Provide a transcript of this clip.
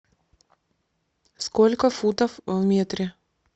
сколько футов в метре